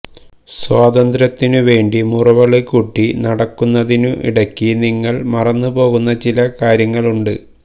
സ്വാതന്ത്ര്യത്തിനു വേണ്ടി മുറവിളി കൂട്ടി നടക്കുന്നതിനു ഇടയ്ക്ക് നിങ്ങള് മറന്നു പോകുന്ന ചില കാര്യങ്ങള് ഉണ്ട്